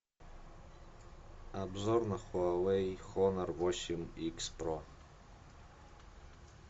обзор на хуавей хонор восемь икс про